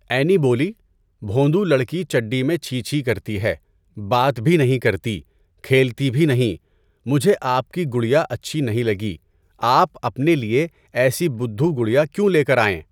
عینی بولی، بھوندو لڑکی چڈی میں چھی چھی کرتی ہے، بات بھی نہیں کرتی، کھیلتی بھی نہیں۔ مجھے آپ کی گڑیا اچھی نہیں لگی۔ آپ اپنے لیے ایسی بدّھو گڑیا کیوں لے کر آئیں؟